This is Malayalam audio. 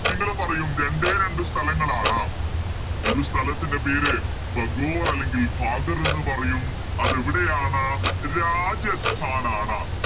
നിങ്ങള് പറയും രണ്ടേ രണ്ട് സ്ഥലങ്ങളാണ് ഒരു സ്ഥലത്തിൻറെ പേര് ഭഗോർ അല്ലെങ്കിൽ ഭാഗർ എന്ന് പറയും അതെവിടെയാണ് രാജസ്ഥാനാണ്